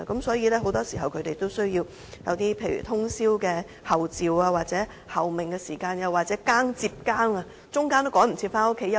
所以，很多時當他們需要通宵候命，在換更時，也有可能趕不及回家睡覺休息。